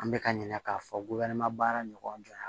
An bɛ ka ɲinɛ k'a fɔ baara ɲɔgɔnya